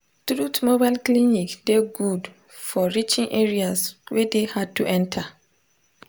truth mobile clinic dey good for reaching areas wey dey hard to enter